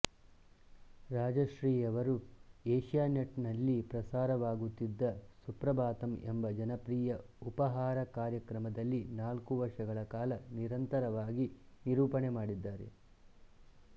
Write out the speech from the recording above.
ರಾಜಶ್ರೀಯವರು ಏಷಿಯಾನೆಟ್ ನಲ್ಲಿ ಪ್ರಸಾರವಾಗುತ್ತಿದ್ದ ಸುಪ್ರಭಾತಮ್ ಎಂಬ ಜನಪ್ರಿಯ ಉಪಹಾರ ಕಾರ್ಯಕ್ರಮದಲ್ಲಿ ನಾಲ್ಕು ವರ್ಷಗಳ ಕಾಲ ನಿರಂತರವಾಗಿ ನಿರೂಪಣೆ ಮಾಡಿದ್ದಾರೆ